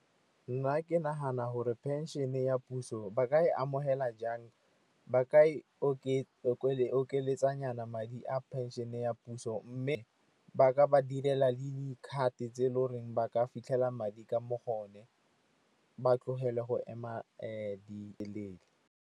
Nna ke nagana gore phenšene ya puso ba ka e amogela jang, ba ka e okeletsanyana madi a phenšene ya puso. Mme ba ka ba direla le di-card tse e le goreng ba ka fitlhela madi ka mo gone, ba tlogele go ema .